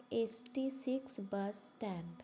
eighty six bus stand